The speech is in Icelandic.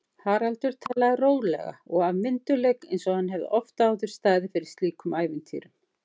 Haraldur talaði rólega og af myndugleik einsog hann hefði oft áður staðið fyrir slíkum ævintýrum.